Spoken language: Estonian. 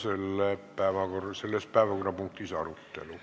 Lõpetan selle arupärimise arutelu.